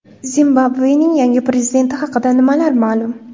Zimbabvening yangi prezidenti haqida nimalar ma’lum?.